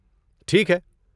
ٹھیک ہے!